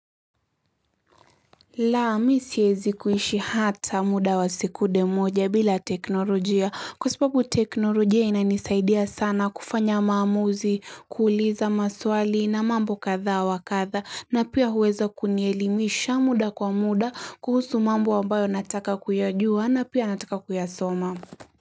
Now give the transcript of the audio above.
La mi siezi kuishi hata muda wa sekude moja bila teknolojia kwa sababu teknolojia inanisaidia sana kufanya maamuzi kuuliza maswali na mambo kadhaa wa kadhaa na pia huweza kunielimisha muda kwa muda kuhusu mambo ambayo nataka kuyajua na pia nataka kuyasoma.